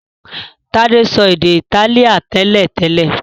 Tade so èdè Itálíà télètélè.